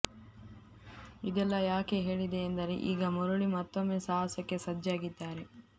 ಇದೆಲ್ಲಾ ಯಾಕೆ ಹೇಳಿದೆ ಎಂದರೆ ಈಗ ಮುರುಳಿ ಮತ್ತೊಂದು ಸಾಹಸಕ್ಕೆ ಸಜ್ಜಾಗಿದ್ದಾರೆ